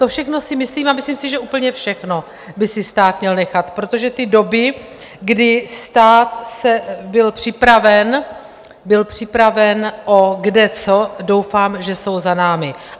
To všechno si myslím a myslím si, že úplně všechno by si stát měl nechat, protože ty doby, kdy stát byl připraven, byl připraven o kde co, doufám, že jsou za námi.